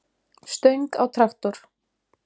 stöng á traktor.